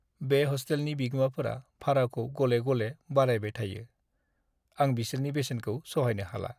बे हस्टेलनि बिगोमाफोरा भाराखौ गले-गले बारायबाय थायो, आं बिसोरनि बेसेनखौ सहायनो हाला।